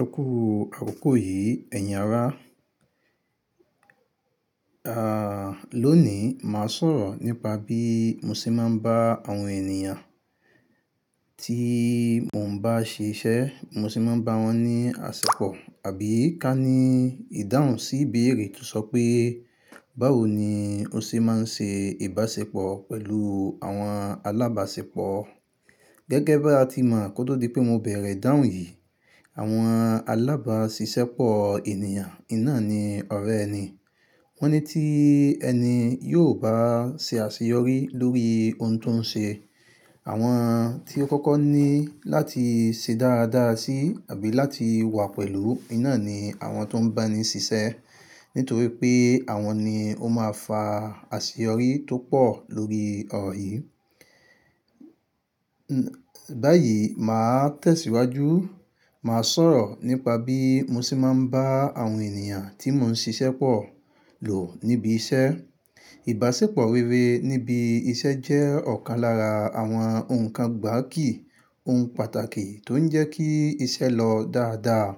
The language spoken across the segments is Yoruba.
Ẹ kú àkókò yìí, ẹ̀yin ará. À, lónìí màá sọ̀rọ̀ nípa bí mo ṣe máa ń bá àwọn ènìyàn tí mo ń bá ṣe iṣẹ́, mo ṣe máa ń bá wọn ní àṣẹ́pọ̀ àbí ká ní ìdáhùn sí ìbéèrè tó sọ pé, báwo ni o ṣe máa ń ṣe ìbáṣepọ̀ pẹ̀lú àwọn alábáṣepọ̀? Gẹ́gẹ́ bí a ti mọ̀ kó tó di pé mo bẹ̀rẹ̀ ìdáhùn yìí, àwọn alábáṣiṣẹ́pọ̀ ènìyàn in ná ni ọ̀rẹ́ ẹni. Wọ́n ní tí ẹni yóò bá ṣe àṣeyọrí lórí ohun tó ń ṣe. Àwọn tí ó kọ́kọ́ ní láti ṣe dáradára sí àbí láti wà pẹ̀lú iná ni àwọn tó ń bá ni ṣiṣẹ́. Nítorí pé àwọn ni ó máa fa àṣeyọrí tó pọ̀ lórí ọ̀rọ̀ yìí. Báyìí, màá tẹ̀síwájú, màá sọ̀rọ̀ nípa bí mo ṣe máa ń bá àwọn ènìyàn tí mò ń ṣe iṣẹ́ pọ̀ lò níbi iṣẹ́. Ìbáṣepọ̀ rere níbi iṣẹ́ jẹ́ ọ̀kan lára àwọn ohun kan gbáàkí, ohun pàtàkì tó ń jẹ́ kí iṣẹ́ lọ dáadáa,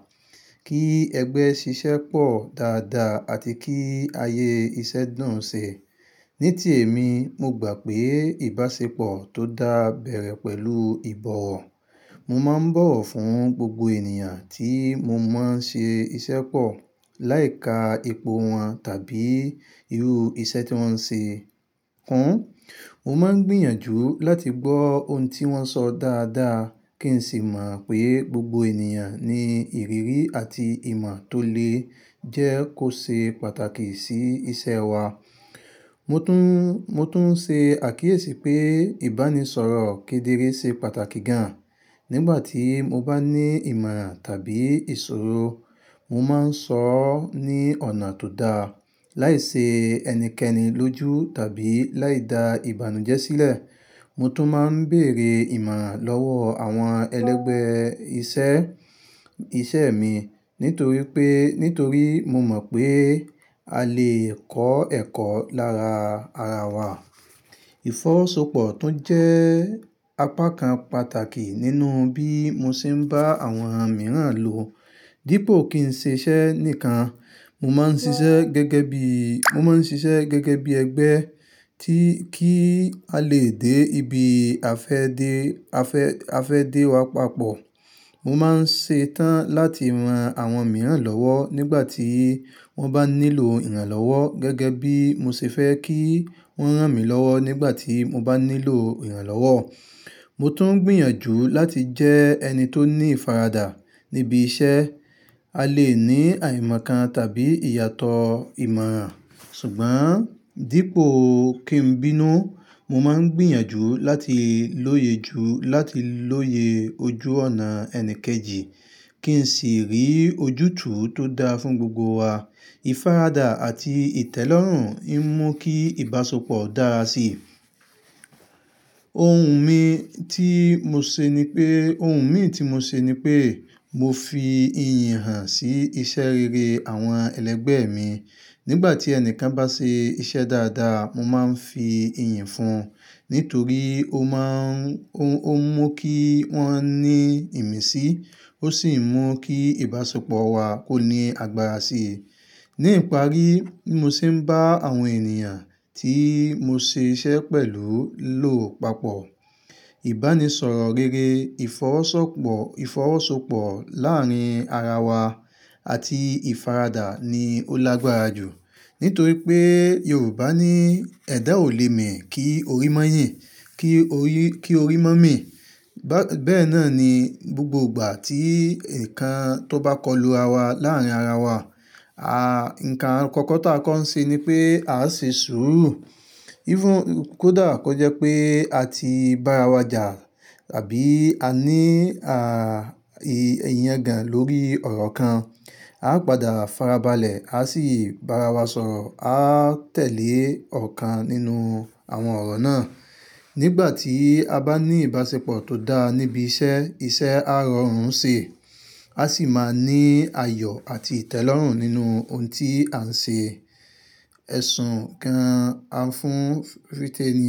kí ẹgbẹ́ ṣiṣẹ́ pọ̀ dáadáa àti kí ayé iṣẹ́ dùn ṣe. Ní ti èmi, mo gbà pé ìbáṣepọ̀ tó dá bẹ̀rẹ̀ pẹ̀lú ìbọ̀wọ̀. Mo máa ń bọ̀wọ̀ fún gbogbo ènìyàn tí mo máa ń ṣe iṣẹ́ pọ̀, láì ka ipò wọn tàbí irú iṣẹ́ tí wọ́n ń ṣe kun. Mo máa ń gbìyànjú láti gbọ́ ohun tí wọ́n sọ dáadáa kí n sì mọ̀ pé gbogbo ènìyàn ní ìrírí àti ìmọ̀ tó le jẹ́ kó ṣe pàtàkì sí iṣẹ́ wa. Mo tún, mo tún ṣe àkíyèsí pé ìbánisọ̀rọ̀ kedere ṣe pàtàkì gan. Nígbà tí mo bá ní ìmọ̀ràn tàbí ìṣòro, mo máa ń sọ ọ́ ní ọ̀nà tó da, láì ṣe ẹnikẹ́ni lójú tàbí láì da ìbànújẹ́ sílẹ̀. Mo tún máa ń bèèrè ìmọ̀ràn lọ́wọ́ àwọn ẹlẹ́gbẹ́ iṣẹ́, iṣẹ́ mi nítorí pé, nítorí mo mọ̀ pé a lè kọ́ ẹ̀kọ́ lára ara wa. Ìfọwọ́sowọ́pọ̀ tún jẹ́ apá kan pàtàkì nínú bí mo ṣe ń bá àwọn mìíràn lò. Dípò kí ń ṣe iṣẹ́ nìkan, mo máa ń ṣiṣẹ́ gẹ́gẹ́ bí, mo máa ń ṣiṣẹ́ gẹ́gẹ́ bí ẹgbẹ́ tí kí a lè dé ibi afẹ́ dé, afẹ́ afẹ́ dé wa papọ̀. Mo máa ń ṣe tán láti ran àwọn mìíràn lọ́wọ́ nígbà tí wọ́n bá nílò ìrànlọ́wọ́ gẹ́gẹ́ bí mo ṣe fẹ́ kí wọ́n rán mi lọ́wọ́ nígbà tí mo bá nílò ìrànlọ́wọ́. Mo tún ń gbìyànjú láti jẹ́ ẹni tó ní ìfaradà níbi iṣẹ́. A lè ní àìmọ̀ kan tàbí ìyàtọ̀ ìmọ̀ràn, ṣùgbọ́n dípò kí n bínú, mo máa ń gbìyànjú láti lóye ju, láti lóye ojú ọ̀nà ẹni kejì kí n sì rí ojútùú tó dáa fún gbogbo wa. Ìfaradà àti ìtẹ́lọ́rùn ń mú kí ìbáṣepọ̀. Dára síi. Ohun mi tí mo ṣe ni pé, ohun mi tí mo ṣe ni pé mo fi ìyì hàn sí iṣẹ́ rere àwọn ẹlẹ́gbẹ́ mi. Nígbà tí ẹni kan bá ṣe iṣẹ́ dáadáa, mo máa ń fi ìyìn fún un. Nítorí ó má ń, ó ń mú kí wọ́n ní ìmísí, ó sì mú kí ìbáṣepọ̀ wa kó ní agbára sí i. Ní ìparí, bí mo ṣe ń bá àwọn ènìyàn tí mo ṣe iṣẹ́ pẹ̀lú lò papọ̀, ìbánisọ̀rọ̀ rere, ìfọwọ́sọ̀pọ̀, ìfọwọ́sowọ́pọ̀ láàárín ara wa àti ìfaradà ni ó lágbára jù. Nítorí pé Yorùbá ní ẹ̀dá ò lé mi kí orí má yìn, kí orí, kí orí má mì. Bẹ́ẹ̀ náà ni gbogbo ìgbà tí ǹkan tó bá kọlu ara wa láàárín ara wa, a, ǹkan àkọ́kọ́ tí a kọ́ ń ṣe ni pé a ṣe sùúrù. Even kódà kọ́ jẹ́ pé a ti bá ara wa jà àbí a ní, a, i, ìyangàn lórí ọ̀rọ̀ kan, a padà farabalẹ̀, a sì bá ara wa sọ̀rọ̀, a tẹ̀lé ọ̀kan nínú àwọn ọ̀rọ̀ náà. Nígbà tí a bá ní ìbáṣepọ̀ tó dáa níbi iṣẹ́, iṣẹ́ á rọrùn ṣè, a sì máa ní ayọ̀ àti ìtẹ́lọ́rùn nínú ohun tí à ń ṣe. Ẹ̀sùn kan á fún fìtẹ́nì.